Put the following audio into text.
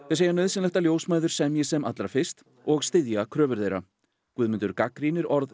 segja nauðsynlegt að ljósmæður semji sem allra fyrst og styðja kröfur þeirra Guðmundur gagnrýnir orð